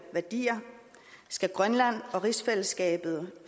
værdier skal grønland og rigsfællesskabet